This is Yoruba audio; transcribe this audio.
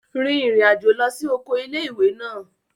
Rin ìrìn àjò lọ sí oko ilé-ìwé náà